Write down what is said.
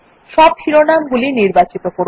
সব শিরোনাম গুলি নির্বাচিত করুন